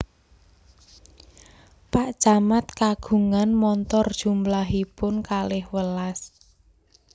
Pak camat kagungan montor jumlahipun kalih welas